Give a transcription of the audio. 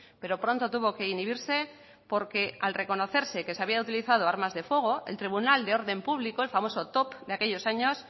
pero pronto tuvo que inhibirse porque al reconocerse que se habían utilizado armas de fuego el tribunal de orden público el famoso top de aquellos años